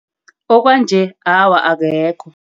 Okwanje awa, abekho.